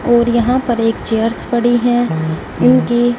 और यहां पर एक चेयर्स पड़ी है उनकी--